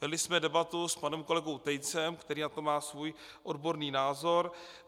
Vedli jsme debatu s panem kolegou Tejcem, který na to má svůj odborný názor.